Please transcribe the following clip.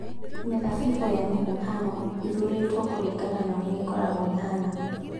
Mĩthabibũ ya mũhihano ĩthuurĩtwo kũringana na ũrĩa ĩkoragwo ĩhaana